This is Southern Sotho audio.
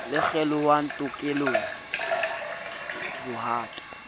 le kgelohang tokelong ya bohato